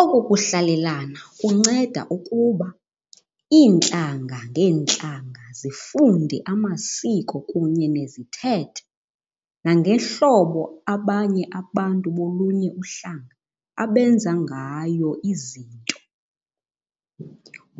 Oku kuhlalelana kunceda ukuba iintlanga ngeentlanga zifunde amasiko kunye nezithethe nangehlobo abanye abantu bolunye uhlanga abenza ngayo izinto.